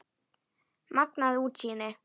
Magnað útsýni!